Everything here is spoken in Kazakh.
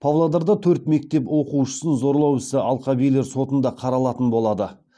павлодарда төрт мектеп оқушысын зорлау ісі алқабилер сотында қаралатын болады